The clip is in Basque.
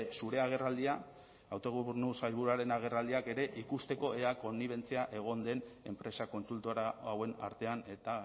zure agerraldia autogobernu sailburuaren agerraldiak ere ikusteko ea konnibentzia egon den enpresa kontsultora hauen artean eta